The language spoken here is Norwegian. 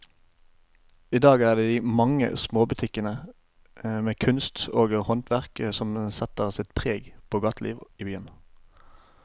I dag er det de mange små butikkene med kunst og håndverk som setter sitt preg på gatelivet i byen.